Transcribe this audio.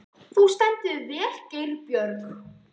Þú stendur þig vel, Geirbjörg!